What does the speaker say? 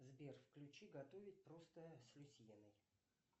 сбер включи готовить просто с люсьеной